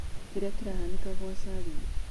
kĩria kirĩyahanĩka Kwa salim